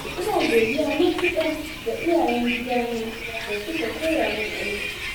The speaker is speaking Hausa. ina godiya matuƙa ga iyayen gidana, da suka koya min aiki.